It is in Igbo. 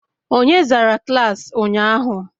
Onye zara klaasị ụnyahụ?